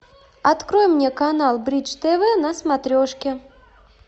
открой мне канал бридж тв на смотрешке